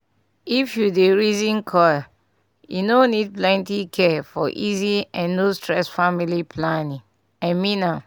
if u dey reason coil e no need plenty care for easy and no stress family planning -- i mean am